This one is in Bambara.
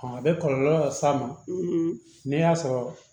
a bɛ kɔlɔlɔ las'a ma n'a sɔrɔ